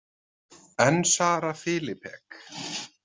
En Sara Filipek?